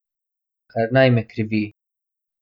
Kar naj me krivi.